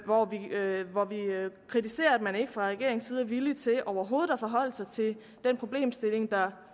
hvor vi vil kritisere at man ikke fra regeringens side er villige til overhovedet at forholde sig til den problemstilling der